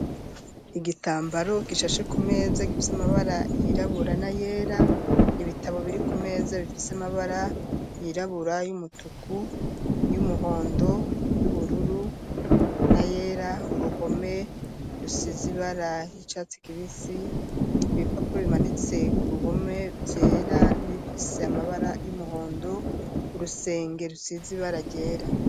Igitambaro gishashe ku meza gifise amabara yirabura na yera ibitabo biri ku meza bifise amabara yirabura y'umutuku y'umuhondo y'ubururu na yera, uruhome rusize ibara ry'icatsi kibisi, ibipapuro bimaditse ku ruhome vyera n'ibifise amabara y'umuhondo, urusenge rusize ibara ryera.